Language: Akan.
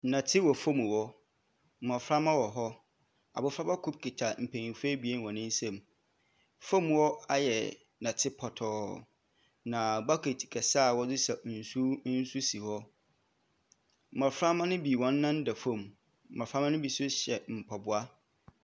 Nnɛte wɔ fam hɔ, mmɔframma wɔ hɔ. Abɔfraba kor kita mpanimfoɔ abien hɔn nsam. Fam hɔ ayɛ nnɛte pɔtɔɔ, na bucket kɛse a wɔdze saw nsuw nso si hɔ. Mmɔframma no bi hɔn nan da fam, mmɔframma no bi nso hyɛ mpaboa.